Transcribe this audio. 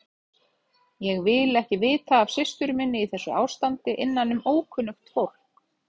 Ég vil ekki vita af systur minni í þessu ástandi innanum ókunnugt fólk.